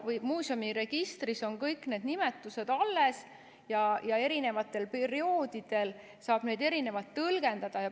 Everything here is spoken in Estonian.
Muuseumi registris on kõik need nimetused alles ja eri perioodidel saab neid erinevalt tõlgendada.